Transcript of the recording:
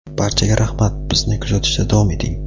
Barchaga rahmat bizni kuzatishda davom eting!.